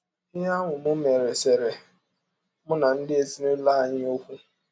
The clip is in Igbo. Ihe ahụ m mere seere mụ na ndị ezinụlọ anyị ọkwụ.